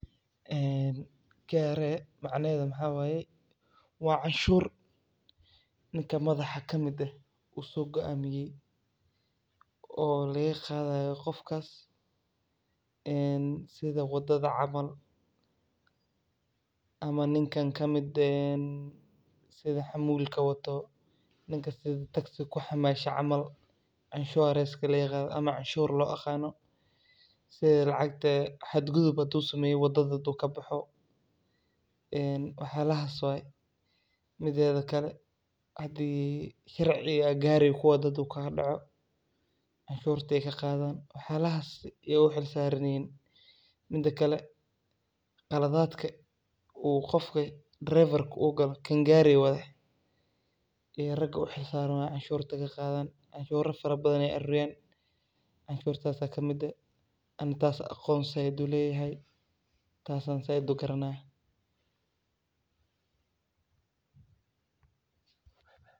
En kRA macnaheeda maxaa waye waa canshur ninka madaxa kamide uu soo goamiye oo laga qaadayo qofkas, en sida wadada camal ama ninka kamide en sida xamuulka wato ninka sida taksiga kuxaamaasho camal inshuranska laga qaado ama canshur loo yaqaano sida lacagte xad gudub haduu sameeyo wadada haduu kaboxo en wax yalahas way, mideeda kale hadii sharciga ad gariga kuwado haduu kaa doco canshurtay ka qaadan, wax yalahas yay u xil saaran yihiin, midakale qaladadka uu qofka draifarka uu galo gari wade iyo raga u xil saaran oo canshurta ka qaadan, canshura fara badan ay aruuriyan, canshurtas aya kamid eh, ani taas an aqon zaaid uleyahay ,taas an zaaid ugaranaya